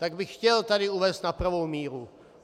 Tak bych chtěl tady uvést na pravou míru.